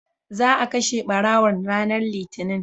za a kashe ɓarawon ranar litani